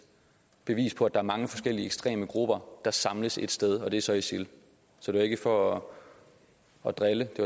bevis på at der er mange forskellige ekstreme grupper der samles ét sted og det er så isil så det var ikke for at drille det